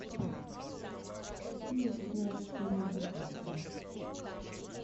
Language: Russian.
какие ты знаешь фильмы тарковского